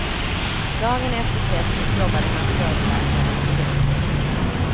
Dagen efter testet jobbade narkosläkaren igen.